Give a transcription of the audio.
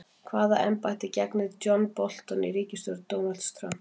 Hvaða embætti gegnir John Bolton í ríkisstjórn Donalds Trump?